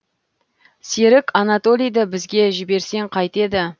серік анатолийді бізге жіберсең қайтеді